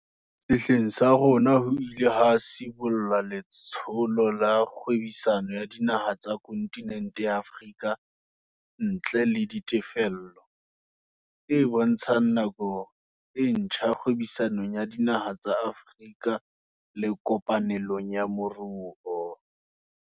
Sehleng sa rona ho ile ha sibollwa Letsholo la Kgwebisano ya Dinaha tsa Kontinente ya Afrika ntle le Ditefello, e bontshang nako e ntjha kgwebisanong ya dinaha tsa Afrika le kopanelong ya moruo.